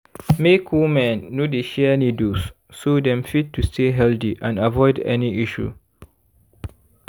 make women no dey share needles so dem fit to stay healthy and avoid any issue